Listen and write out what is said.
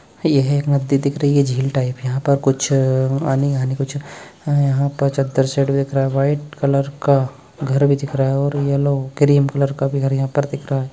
यह एक नदी दिख रही है झील टाइप यहाँ पर कुछ अ आणि हानि कुछ अ यहाँ पर चद्दर सेट दिख रहा है वाइट कलर का घर भी दिख रहा है और येलो क्रीम कलर का भी घर यहाँ पर दिख रहा है।